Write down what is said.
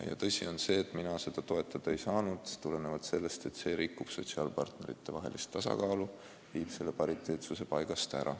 Ja tõsi on ka see, et mina seda toetada ei saanud, kuna see rikkunuks sotsiaalpartneritevahelise tasakaalu, viinuks pariteetsuse paigast ära.